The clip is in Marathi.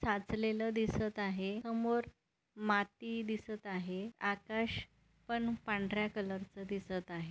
साचलेलं दिसत आहे समोर माती दिसत आहे आकाश पण पांढर्‍या कलरचा दिसत आहे.